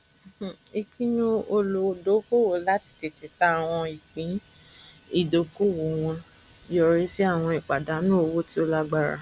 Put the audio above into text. ìpinu olùdókòwò láti tètè tà àwọn ìpín ìdókòwò wọn yọrí sí àwọn ìpàdánù owó tí ó lágbára